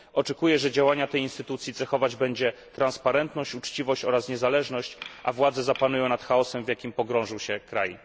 Oczekuję, że działania tej instytucji cechować będzie transparentność, uczciwość oraz niezależność, a władze zapanują nad chaosem, w jakim pogrążył się kraj.